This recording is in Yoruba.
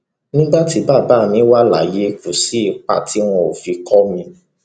nígbà tí bàbá mi wà láyé kò sí ipa tí wọn ò fi kó mi